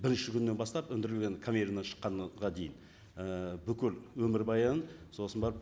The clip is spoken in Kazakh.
бірінші күннен бастап өндірілген конвейеріннен шыққанға дейін і бүкіл өмірбаяны сосын барып